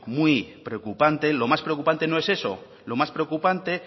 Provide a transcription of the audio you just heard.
muy preocupante lo más preocupante no es eso lo más preocupante